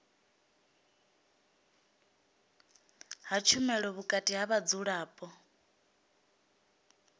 ha tshumelo vhukati ha vhadzulapo